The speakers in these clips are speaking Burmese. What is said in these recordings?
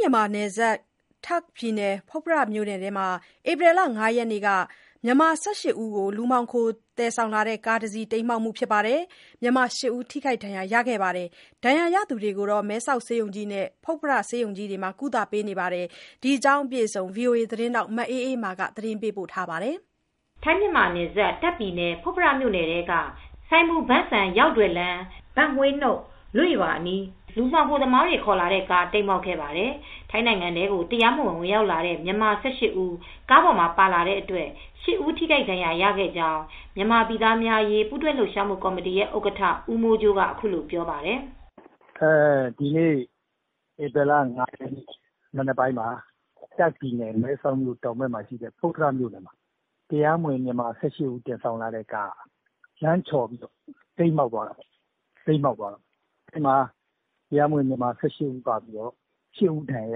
မြန်မာနဲ့နယ်စပ် တာ့ခ်ပြည်နယ်၊ ဖွတ်ဖရမြို့နယ်ထဲမှာ ဧပြီလ ၅ရက်နေ့က မြန်မာ ၁၈ ဦးကို လူမှောင်ခိုသယ်ဆောင်လာတဲ့ကားတစီး တိမ်းမှောက်ပြီး မြန်မာ ၈ ဦးထိခိုက်ဒဏ်ရာရခဲ့ပါတယ်။ ဒဏ်ရာရသူတွေကို မဲဆောက်ဆေးရုံကြီးနဲ့ ဖွတ်ဖရဆေးရုံကြီး တို့မှာကုသပေးနေပါတယ်။ ဒီသတင်းကို ဗွီအိုအေသတင်းထောက် မအေးအေးမာက သတင်းပေးပို့ထားပါတယ်။ ထိုင်းမြန်မာနယ်စပ် တာ့ခ်ပြည်နယ် ဖွတ်ဖရမြို့နယ်ထဲက စိုင်မူဘန်းစမ်ရောက်ဒွယ်လမ်း၊ ဘန့်ဟွေးနုတ်လွေ့ရွာအနီး လူမှောင် ခိုသမားတွေ ခေါ်လာတဲ့ကား တိမ်းမှောက်ခဲ့ပါတယ်။ ထိုင်းနိုင်ငံထဲကို တရားမဝင် ဝင်ရောက်လာတဲ့ မြန်မာ ၁၈ ဦး ကားပေါ် ပါလာတဲ့အတွက် ၈ ဦး ထိခိုက်ဒဏ်ရာရခဲ့ကြောင်း မြန်မာပြည်သားများအရေး ပူးတွဲလှုပ်ရှားမူ့ကော်မတီရဲ့ ဥက္ကဋ္ဌ ဦးမိုးကြိုးက အခုလိုပြောပါတယ်။ “ဒီနေ့ ဧပြီလ ၅ ရက်နေ့မနက်ပိုင်းမှာ တာ့ခ်ပြည်နယ် မဲဆောက်မြို့တောင်ဘက်မှာရှိတဲ့ ဖွတ်ဖရမြိုနယ်ထဲမှာ တရားမဝင် မြန်မာ ၁၈ ဦးကို သယ်ဆောင်လာတဲ့ကားက လမ်းချော်ပြီး တိမ်းမှောက်သွားပါတယ်။ ဒီထဲမှာ တရားမဝင် မြန်မာ ၁၈ ဦးထဲက ၈ ဦး ဒဏ်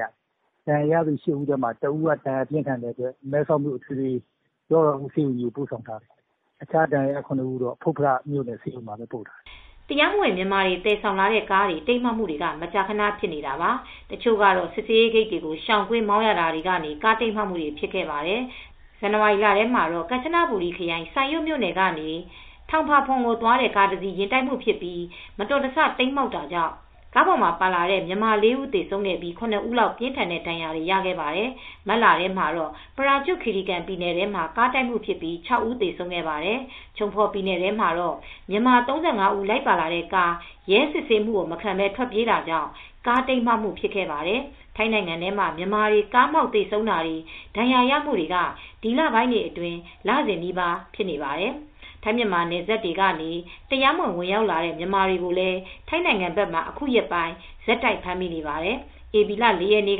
ရာရပါတယ်။ အဲဒီထဲက တဦးကတော့ ဒဏ်ရာပြင်းထန်လို့ မဲဆောက်အထွေထွေကုဆေးရုံကြီးကို ပို့ဆောင်ထားရပါတယ်။ ကျန်တဲ့ ဒဏ်ရာရ ခုနစ်ဦးကတော့ ဖွတ်ဖရဆေးရုံကြီးမှာ ပို့ပြီးကုသခံနေရပါတယ်။” တရားမဝင် မြန်မာတွေ သယ်ဆောင်လာတဲ့ကားတွေ တိမ်းမှောက်မှုဆိုတာက ထိုင်းနိုင်ငံအတွင်း မကြာခန ဖြစ်နေတာပါ။ တချို့မတော်တဆ ကားမှောက်တာတွေဟာ စစ်ဆေးရေးဂိတ်တွေကိုရှောင်ကွင်းမောင်းရတာကနေ ဖြစ်ခဲ့ကြတာပါ။ ဇန်နဝါရီလထဲတုန်းကတော့ ကမ်ချနဘူရီခရိုင် Sai Yok မြို့နယ်ကနေThong Pha Phum ကိုသွားတဲ့ ကားတစီး ယဉ်တိုက်မှုဖြစ်ပြီး မတော်တဆ တိမ်းမှောက်ခဲ့ရာက ကားထဲမှာပါလာတဲ့မြန်မာ ၄ ဦးသေဆုံးပြီး ၇ ဦးလောက်က ပြင်းထန်တဲ့ဒဏ်ရာတွေရခဲ့ပါတယ်။ မတ်လထဲမှာတော့ ပရာကျွတ်ခီရီကန်ပြည်နယ်ထဲမှာ ဖြစ်တဲ့ ကားတိုက်မှုအတွင်း ၆ ဦး သေဆုံးခဲ့ပါတယ်။ ချုံဖော်ပြည်နယ်ထဲမှာလည်း မြန်မာ ၃၅ ဦး လိုက်ပါလာတဲ့ကား ရဲစစ်ဆေးတာမခံဘဲ ထွက်ပြေးရင်း ကားမှောက်သွားခဲ့ပါတယ်။ ထိုင်းနိုင်ငံထဲမှာ မြန်မာတွေလိုက်ပါလာတဲ့ကားတွေ မတော်တဆ တိမ်းမှောက်တာ၊ ကားတိုက်တာတွေဟာ လစဉ်နီးပါးဖြစ်နေပါတယ်။ ထိုင်းမြန်မာနယ်စပ်တွေကနေ တရားမဝင် ဝင်ရောက်လာတဲ့ မြန်မာတွေကိုလည်း ထိုင်းနိုင်ငံဘက်မှာ အခုရက်ပိုင်း ဆက်တိုက်ဖမ်းမိနေပါတယ်။ ဧပြီလ ၄ ရက်နေ့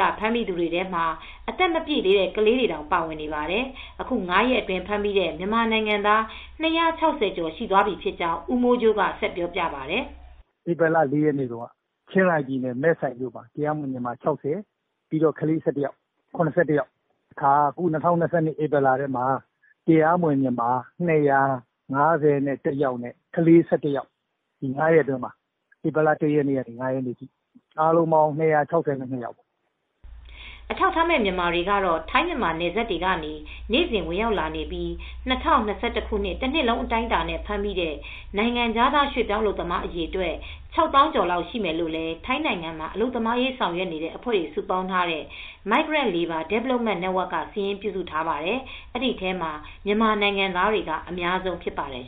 ကဖမ်းမိသူတွေထဲမှာ အသက်မပြည့်သေးတဲ့ကလေးတွေတောင် ပါဝင်ပါတယ်။ အခု ၅ ရက်အတွင်း ဖမ်းမိတဲ့မြန်မာနိုင်ငံသား ၂၆၀ ကျော် ရှိသွားပြီဖြစ်ကြောင်း ဦးမိုးကြိုးက ဆက်ပြောပြပါတယ်။ “ဧပြီလ ၄ ရက်နေ့တုန်းကတော့ ချင်းရိုင်ပြည်နယ်၊ မဲဆိုင်မြို့နယ်ထဲမှာ တရားမဝင် မြန်မာ ၆၀၊ ကလေး ၁၁ ယောက်- အားလုံး ၇၁ ယောက်ပါ။ ၂၀၂၂ ခုနှစ်၊ ဧပြီလထဲမှာတော့ တရားမဝင်မြန်မာ ၂၅၁ ယောက်နဲ့ ကလေးက ၁၁ ယောက်။ အခု ၅ ရက်အတွင်းမှာပါ။ ဧပြီလ ၁ ရက်နေ့ကနေ ၅ ရက်နေ့ထိ အားလုံး ၂၆၂ ယောက်ပါ။” အထောက်အထားမဲ့မြန်မာတွေကတော့ထိုင်းမြန်မာနယ်စပ်တွေကနေနေစဉ်ဝင်ရောက်လာနေပြီး ၂၀၂၁ တနှစ်လုံးအတိုင်းအတာနဲ့ ဖမ်းမိတဲ့ နိုင်ငံခြားရွှေပြောင်း အလုပ်သမားအရေအတွက်၆သောင်းကျော်လောက်ရှိမယ်လို့လည်း ထိုင်းနိုင်ငံမှာ အလုပ်သမားရေးဆောင်ရွက်နေတဲ့အဖွဲ့တွေစုပေါင်းထားတဲ့ Migrant Labour Development Network ကစာရင်း ပြုစုထားပါတယ်။ အဲဒီထဲမှာ မြန်မာနိုင်ငံသားတွေက အများဆုံးဖြစ်ပါတယ်